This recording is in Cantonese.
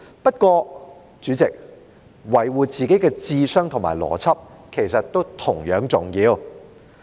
不過，主席，維護自己的智商和邏輯，其實也同樣重要。